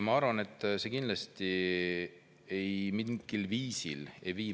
Ma arvan, et see ei vii meie majandust mingilgi viisil edasi.